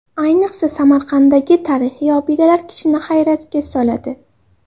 Ayniqsa, Samarqanddagi tarixiy obidalar kishini hayratga soladi.